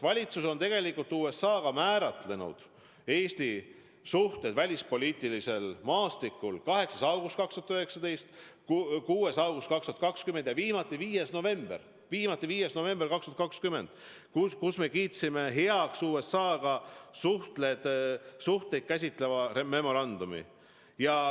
Valitsus on tegelikult määratlenud Eesti suhted USA-ga välispoliitilisel maastikul 8. augustil 2019, 6. augustil 2020 ja viimati 5. novembril 2020, kui me kiitsime heaks USA-ga suhteid käsitleva memorandumi.